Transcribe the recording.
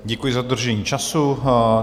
Děkuji za dodržení času.